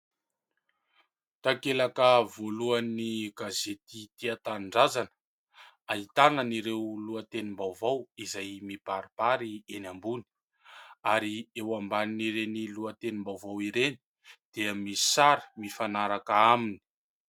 Takelaka voalohan'ny gazety " Tia tanindrazana". Ahitana an'ireo lohatenim-baovao izay mibaribary eny ambony ary eo ambanin'ireny lohatenim-baovao ireny dia misy sary mifanaraka aminy.